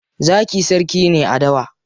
Zaki sarki ne a dawa.